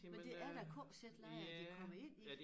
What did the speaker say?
Men det er jo KZ-lejre de kommer ind i